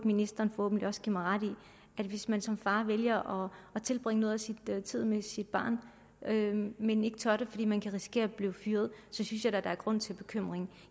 ministeren forhåbentlig også give mig ret i hvis man som far vælger at tilbringe noget af sin tid med sit barn men ikke tør gøre det fordi man kan risikere at blive fyret synes jeg da der er grund til bekymring